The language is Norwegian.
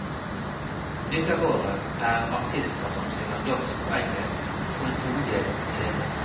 Nytt av året er artister som synger norsk på engelsk, på en todelt scene.